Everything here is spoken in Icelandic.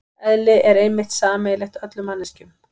Eðli er einmitt sameiginlegt öllum manneskjum.